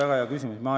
Väga hea küsimus!